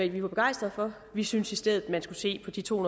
vi var begejstrede for vi syntes i stedet at man skulle se på de to